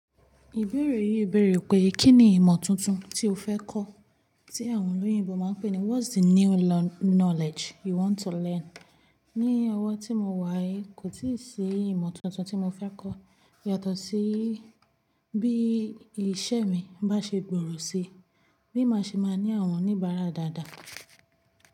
Ìbéèrè yìí béèrè pé kí ni ìmọ̀ tuntun tí o fẹ́ kọ́ tí àwọn olóyìnbo máa ń pè ní what's the new learn-- knowledge you want to learn? Ní ọwọ́ tí mo wà yí, kò tí ì sí ìmọ̀ tuntun tí mo fẹ́ kọ́ yàtọ̀ sí bí iṣẹ́ mi bá ṣe gbòrò si, bí màá ṣe máa ní àwọn oníbàárà dáadáa.